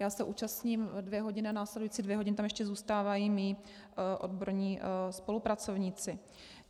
Já se účastním dvě hodiny a následující dvě hodiny tam ještě zůstávají mí odborní spolupracovníci.